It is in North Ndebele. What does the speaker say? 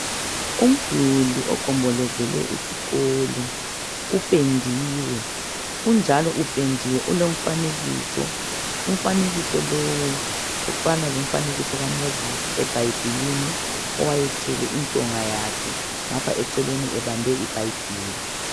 Umduli ogombolozele iskolo, uphendiwe, unjalo uphendiwe ulomfanekiso, umfanekiso lowu ofana lomfanekiso kaMoses ebhayibhilini owayethwele intonga yakhe ngapha eceleni ebabhe ibhayibhili.